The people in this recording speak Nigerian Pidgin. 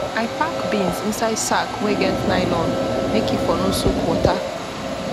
i pack beans inside sack wen get nylon make e for no soak water